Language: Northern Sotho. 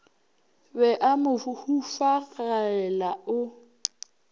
be a mo hufagela o